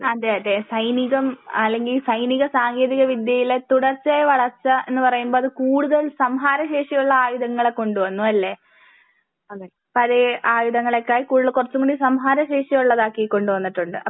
അതെ അതെ സൈനികം അല്ലെങ്കിൽ സൈനിക സാങ്കേന്തിക വിദ്യയില് തുടർച്ചയെ വളർച്ച എന്ന് പറയും പോലെ കൂടുതൽ സംഹാര ശേഷിയുള്ള ആയുധങ്ങൾ കൊണ്ട് വന്നുവല്ലേ? പഴയ ആയുധങ്ങളെക്കാൾ കൂടുതൽ കുറച്ചും കൂടി സംഹാര ശേഷി ഉള്ളത് ആക്കി കൊണ്ട് വന്നിട്ടുണ്ട്.